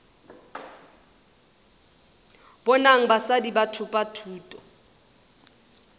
bonang basadi ba thopa thuto